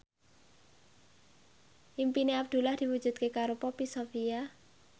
impine Abdullah diwujudke karo Poppy Sovia